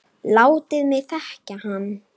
Látið mig þekkja hann